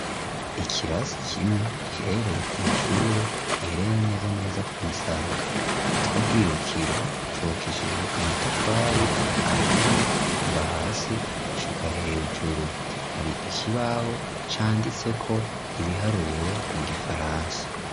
I kirasi kimwe gihereye kw'ishure giherere neza neza ku musaka itwa bwirukiro cubakishijwe amatafari ahiye kuva hasi gushika hejuru hari ikibaho canditseko ibiharuro mu gifarasa.